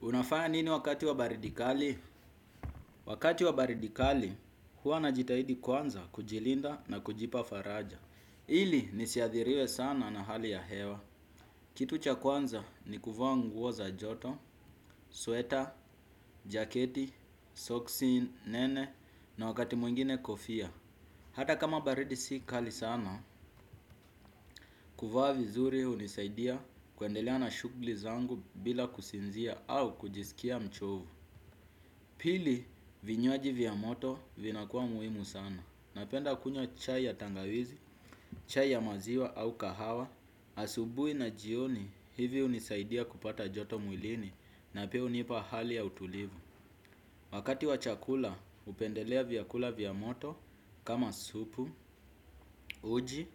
Unafanya nini wakati wa baridi kali? Wakati wa baridi kali huwa najitahidi kwanza kujilinda na kujipa faraja. Ili nisiathiriwe sana na hali ya hewa. Kitu cha kwanza ni kuvaa nguo za joto, sweta, jaketi, soksi nene na wakati mwingine kofia. Hata kama baridi si kali sana, kuvaa vizuri hunisaidia kuendelea na shughuli zangu bila kusinzia au kujisikia mchovu. Pili, vinywaji vya moto vinakuwa muhimu sana. Napenda kunywa chai ya tangawizi, chai ya maziwa au kahawa, asubuhi na jioni hivi hunisaidia kupata joto mwilini na pia hunipa hali ya utulivu. Wakati wa chakula, hupendelea vyakula vya moto kama supu, uji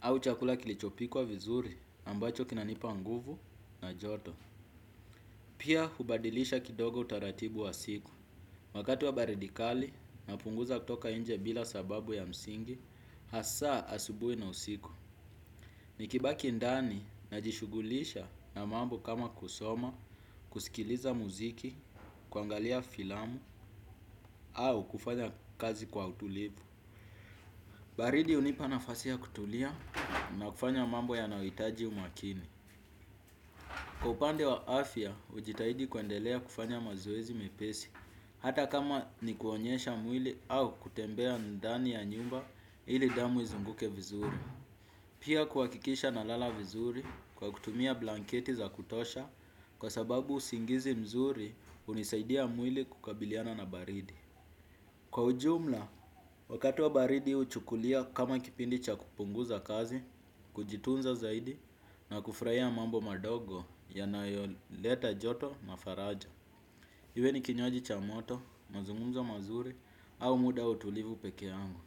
au chakula kilichopikwa vizuri ambacho kinanipa nguvu na joto. Pia hubadilisha kidogo utaratibu wa siku, wakati wa baridi kali napunguza kutoka nje bila sababu ya msingi, hasa asubuhi na usiku. Nikibaki ndani najishughulisha na mambo kama kusoma, kusikiliza muziki, kuangalia filamu au kufanya kazi kwa utulivu. Baridi hunipa nafasi ya kutulia na kufanya mambo yanayohitaji umakini. Kwa upande wa afya, hujitahidi kuendelea kufanya mazoezi mepesi, hata kama ni kuonyesha mwili au kutembea ndani ya nyumba ili damu izunguke vizuri. Pia kuhakikisha nalala vizuri kwa kutumia blanketi za kutosha kwa sababu usingizi mzuri hunisaidia mwili kukabiliana na baridi. Kwa ujumla, wakati wa baridi huchukulia kama kipindi cha kupunguza kazi, kujitunza zaidi na kufurahia mambo madogo yanayoleta joto na faraja. Iwe ni kinywaji cha moto, mazungumzo mazuri au muda wa utulivu peke yangu.